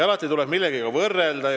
Alati tuleb aga millegagi võrrelda.